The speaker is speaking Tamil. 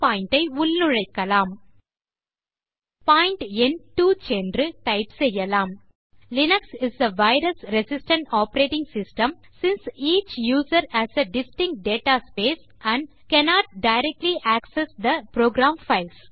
பாயிண்ட் எண் 2 சென்று டைப் செய்யலாம்